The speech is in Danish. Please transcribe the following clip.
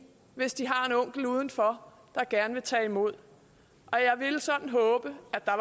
hvis de har en onkel udenfor der gerne vil tage imod jeg ville sådan håbe at der